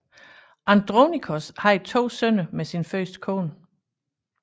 Andronikos havde to sønner med sin første kone